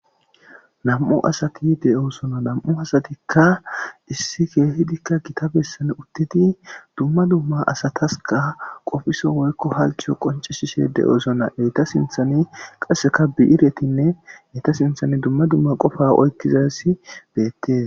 2 asat de'osona,2 asatika issi keehidika Gita besan utid dumma dumma asataska qopiso woykko halcho qoncisishe dosona. Eta sinthan qaseka bi'iret qaseka dumma dumma Qopa oykizays des